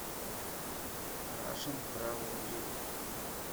рашен трэвел гид